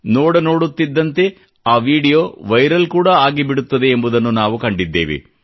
ನೋಡ ನೋಡುತ್ತಿದ್ದಂತೆ ಆ ವಿಡಿಯೋ ವೈರಲ್ ಕೂಡಾ ಆಗಿಬಿಡುತ್ತದೆ ಎಂಬುದನ್ನು ನಾವು ಕಂಡಿದ್ದೇವೆ